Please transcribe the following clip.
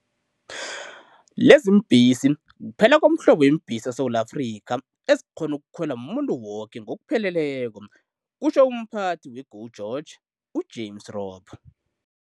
Leziimbhesi kuphela komhlobo weembhesi eSewula Afrika ezikghona ukukhwelwa mumuntu woke ngokupheleleko, kutjho umPhathi we-GO GEORGE, u-James Robb.